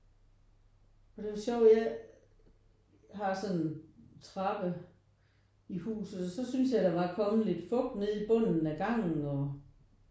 Det er jo så weird. Jeg har sådan en trappe i huset og så synes jeg der var kommet lidt fugt nede i bunden af gangen og